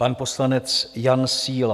Pan poslanec Jan Síla.